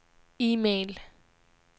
e-mail